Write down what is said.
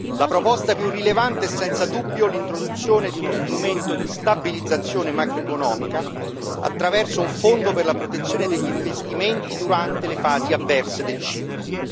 La proposta più rilevante è senza dubbio l'introduzione di uno strumento di stabilizzazione macroeconomica, attraverso un fondo per la protezione degli investimenti, durante le fasi avverse del ciclo.